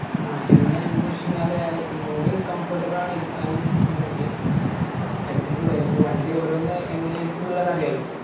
ആ പിന്നെ എന്ത് വെച് കയിഞ്ഞാല് അത് ഒന്നൂടിയും comfortable ആണ് ഇരിക്കാനും എന്തിനും ഒക്കെയും അത്രേ ഓക്കേ തന്നെ ഉള്ളു അത് ഇപ്പൊ വണ്ടി ഓരോന്ന് എങ്ങനെ ഇരിക്കുന്ന് ഉള്ളത് അറിയാലോ